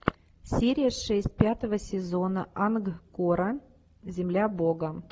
серия шесть пятого сезона ангкора земля бога